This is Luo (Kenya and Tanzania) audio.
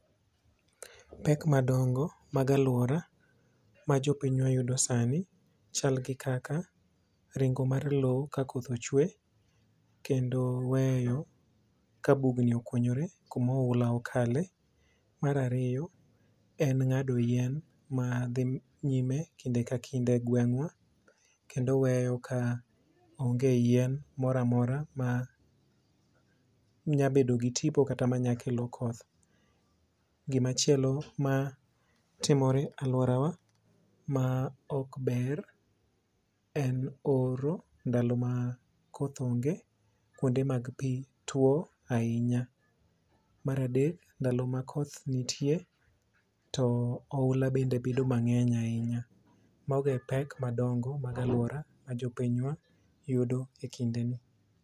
Pek madongo mag alwora majopinywa yudo sani chal gi kaka ringo mar lo ka koth ochwe, kendo weyo ka bugni okunyore kuma oula okale. Mar ariyo en ng'ado yien madhi nyime kinde ka kinde e gweng'wa kendo weyo ka onge yien moro amora manyabedo gi tipo kata manyakelo koth. Gimachielo matimore alworawa ma okber en oro ndalo ma koth onge kuonde mag pi tuo ahinya. Mar adek, ndalo ma koth nitie to oula bende bedo mang'eny ahinya. Mago e pek madongo mag alwora ma jopinywa yudo e kindeni.